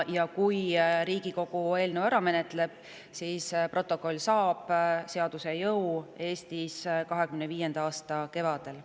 Kui Riigikogu eelnõu ära menetleb, saab protokoll Eestis seaduse jõu 2025. aasta kevadel.